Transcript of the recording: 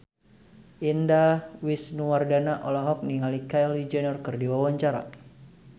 Indah Wisnuwardana olohok ningali Kylie Jenner keur diwawancara